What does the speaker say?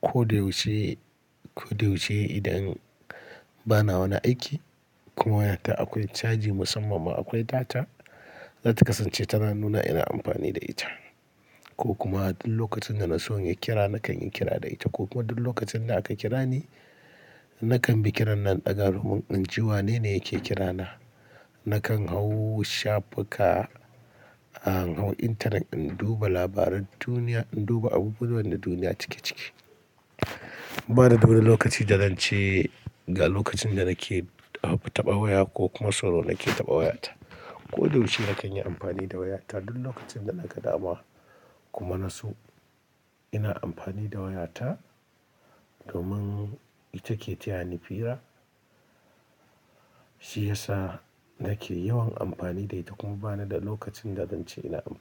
Ko da yaushe, ko da yaushe idan bana wani aiki kuma waya ta akwai caji musamman ma akwai data, zatakasa ce tana nuna ina amfani da ita. Ko kuma duk lokacin da na so in yi kira nakan yi kira da ita ko kuma duk lokacin da aka kira ni, nakan bi kiran nan daga ruhun in ji wanene yake kira na. Nakan hau shafuka, in hau intanet in duba labaran duniya, in duba abubuwan da duniya cike cike. Bani da wani lokaci da zance ga lokacin da nake taba waya ko kuma sau nawa nake taba wayata. Ko da yaushe nakan yi amfani da wayata duk lokacin da na ga dama kuma na so ina amfani da wayata domin ita ke taya ni fira, shi yasa nake yawan amfani da ita kuma bani da lokacin da zance ina amfani da ita.